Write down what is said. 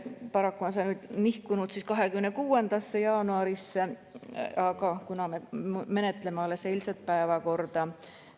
Paraku on see nihkunud 26. jaanuarile, kuna me menetleme alles eilseid päevakorrapunkte.